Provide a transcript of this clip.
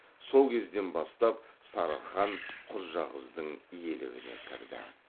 сол кезден бастап сарығ хан құрджақыздың иелігіне кірді